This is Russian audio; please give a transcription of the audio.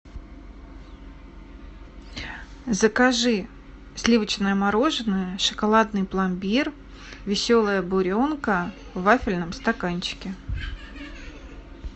закажи сливочное мороженое шоколадный пломбир веселая буренка в вафельном стаканчике